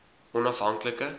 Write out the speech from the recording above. onaf hank like